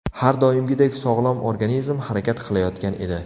Har doimgidek sog‘lom organizm harakat qilayotgan edi.